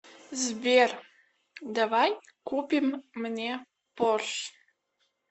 сбер давай купим мне порш